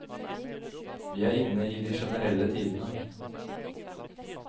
Vi er inne i de generelle tidene.